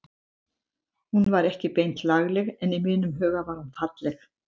Hún var ekki beint lagleg en í mínum huga var hún falleg.